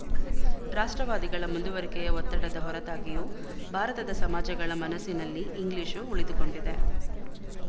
ರಾಷ್ಟ್ರವಾದಿಗಳ ಮುಂದುವರಿಕೆಯ ಒತ್ತಡದ ಹೊರತಾಗಿಯೂ ಭಾರತದ ಸಮಾಜಗಳ ಮನಸ್ಸಿನಲ್ಲಿ ಇಂಗ್ಲಿಶು ಉಳಿದುಕೊಂಡಿದೆ